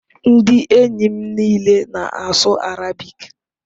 Ndị enyi m niile na-asụ Arabic